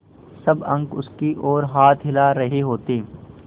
सब अंक उसकी ओर हाथ हिला रहे होते